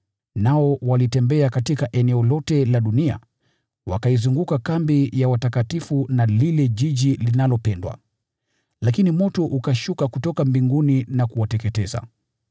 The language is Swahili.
Nao walitembea katika eneo lote la dunia, wakaizunguka kambi ya watakatifu na ule mji unaopendwa. Lakini moto ukashuka kutoka mbinguni na kuwateketeza.